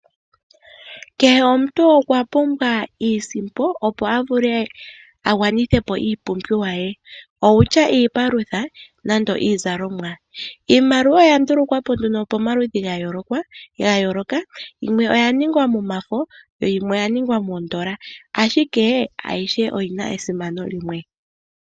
Kehe omuntu okwa pumbwa iisimpo opo a vule a gwanithe po iipumbiwa ye, okutya iipalutha nenge iizalomwa. Iimaliwa oya ndulukwa po nduno pomaludhi ga yooloka. Yimwe oya ningwa momafo, yo yimwe oya ningwa miikukutu, ashike ayihe oyi na esimano limwe.